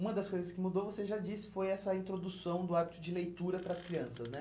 Uma das coisas que mudou, você já disse, foi essa introdução do hábito de leitura para as crianças né?